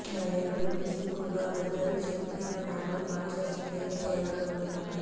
నాయకులు నిస్సిగ్గుగా అబద్ధాలు చెబుతూ ఇలా మాటలు మార్చేస్తుంటే ఏం చేయగలమన్నారు